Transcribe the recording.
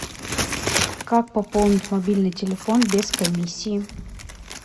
как пополнить мобильный телефон без комиссии